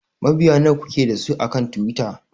Mabiya nawa kuke da su akan Twitter?